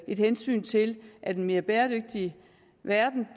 et hensyn til at en mere bæredygtig verden